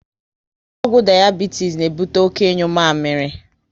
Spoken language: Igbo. Ọgwụ dayabitis na ebute oké ịnyu mamịrị